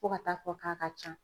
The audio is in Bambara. Fo ka taa fɔ k'a ka ca